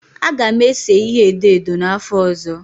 A ga m ese ihe edo edo n'afọ ọzọ